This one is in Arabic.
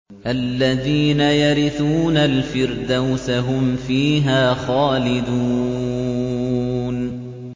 الَّذِينَ يَرِثُونَ الْفِرْدَوْسَ هُمْ فِيهَا خَالِدُونَ